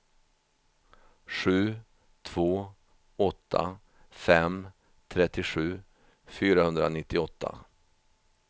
sju två åtta fem trettiosju fyrahundranittioåtta